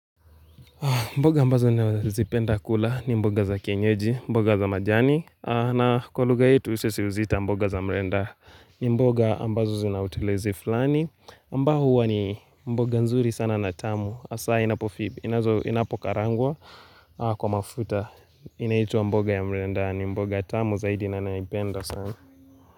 Mboga ambazo na zipenda kula ni mboga za kyenyeji, mboga za majani. Na kwa lugha yetu sisi huziita mboga za mrenda. Ni mboga ambazo zinautelezi fulani ambao huwa ni mboga nzuri sana na tamu has inapokalangwa kwa mafuta. Inaitwa mboga ya mrenda ni mboga tamu zaidi na naipenda sana.